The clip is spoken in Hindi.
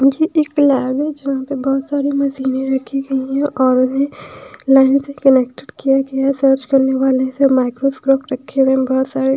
यह एक लैब है जहाँ पर बहुत सारी मशीनें रखी गई है और उन्हें लाइन से कनेक्टेड किया गया है सर्च करने वाले सब माइक्रोस्कोप रखे हुए हैं बहुत सारे--